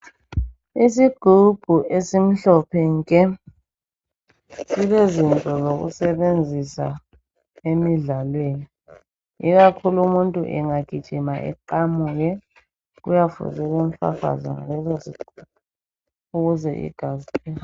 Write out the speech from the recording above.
isigubhu esimhlophe nke silezinto zokusebenzisa emidlalweni ikakhulu umuntu engagijima eqamuke kuyafuze limfafaze ngalezozinto ukuze igazi